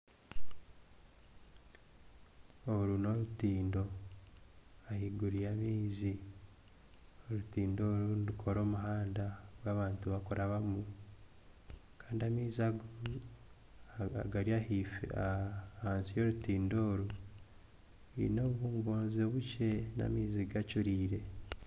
Oru n'orutindo ahaiguru y'amaizi. Orutindo oru nirukora omuhanda ogu abantu barikurabamu, kandi amaizi ago agari ahaife aha ahansi y'orutindo oru gaine obungonzi bukye. N'amaizi gacuriire.